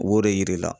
Wo de yir'i la